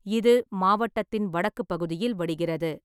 இது மாவட்டத்தின் வடக்கு பகுதியில் வடிகிறது.